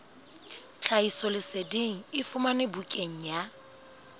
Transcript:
tlhahisoleseding e fumanwe bukaneng ya